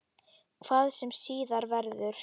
Hvað sem síðar verður.